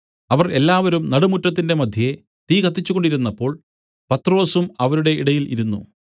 അവർ എല്ലാവരും നടുമുറ്റത്തിന്റെ മദ്ധ്യേ തീ കത്തിച്ച് കൊണ്ടിരുന്നപ്പോൾ പത്രൊസും അവരുടെ ഇടയിൽ ഇരുന്നു